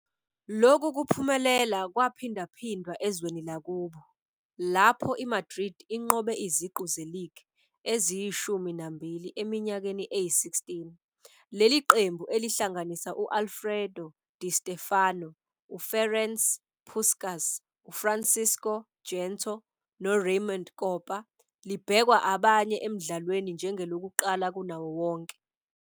Lokhu kuphumelela kwaphindaphindwa ezweni lakubo, lapho iMadrid inqobe iziqu ze-league eziyishumi nambili eminyakeni eyi-16. Leli qembu, elihlanganisa u-Alfredo Di Stéfano, u-Ferenc Puskás, uFrancisco Gento, noRaymond Kopa, libhekwa abanye emdlalweni njengelokuqala kunawo wonke.